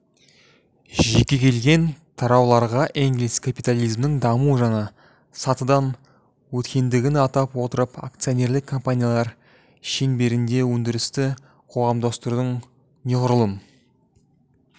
жекелеген тарауларға энгельс капитализмнің даму жаңа сатыдан өткендігін атап отырып акционерлік компаниялар шеңберінде өндірісті қоғамдастырудың неғұрлым